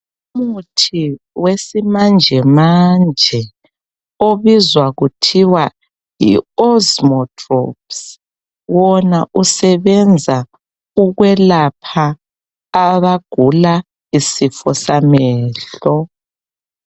Umuthi wesimanjemanje obizwa kuthiwa yi osmodrops wona usebenza ukwelapha abagula isifo samehlo